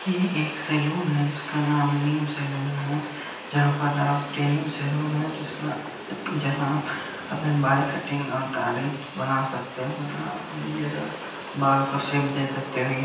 ये एक सैलून है जिसका नाम निम् सैलून है जहाँ पर आप डेनिम सैलून है जिसका जहाँ आप अपने बाल कटिंग और दाढ़ी बना सकते हो जहाँ आप बियर्ड और बाल को शेप दे सकते हो।